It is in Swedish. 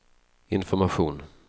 information